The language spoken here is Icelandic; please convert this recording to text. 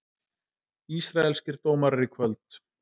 Ísraelskir dómarar í kvöld